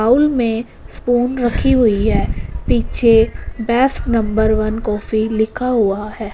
Bowl में spoon रखी हुई है पीछे बेस्ट नंबर वन कॉफी लिखा हुआ है।